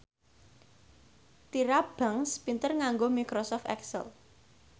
Tyra Banks pinter nganggo microsoft excel